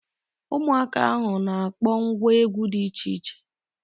Ụmụaka ahụ na akpọ ngwa egwu dị iche iche